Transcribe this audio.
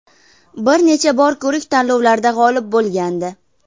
Bir necha bor ko‘rik tanlovlarda g‘olib bo‘lgandi.